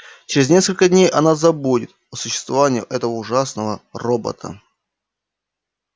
через несколько дней она забудет о существовании этого ужасного робота